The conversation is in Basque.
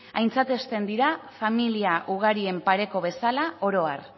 aintzatesten dira familia ugarien pareko bezala oro har